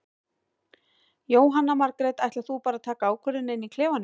Jóhanna Margrét: Ætlar þú bara að taka ákvörðun inn í klefanum?